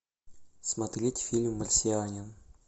смотреть фильм марсианин